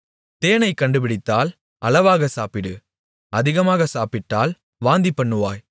தேனைக் கண்டுபிடித்தால் அளவாகச் சாப்பிடு அதிகமாக சாப்பிட்டால் வாந்திபண்ணுவாய்